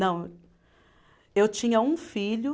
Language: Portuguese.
Não, eu tinha um filho.